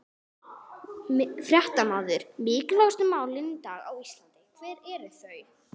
Fréttamaður: Mikilvægustu málin í dag á Íslandi, hver eru þau?